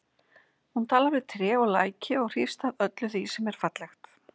Hún talar við tré og læki og hrífst af öllu því sem er fallegt.